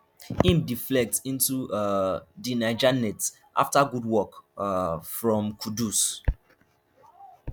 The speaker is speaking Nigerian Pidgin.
im deflect into um di niger net afta good work um from kudus